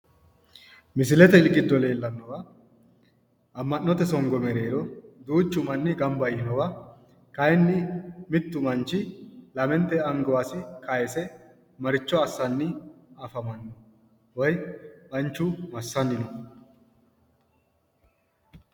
Misilete giddo leellannowa ama'note songo mereero duuchu manni gamba yiinowa kayiinni mittu manni lamenete angasi kayiise maricho assanni afammanno? woy manchu massanni no?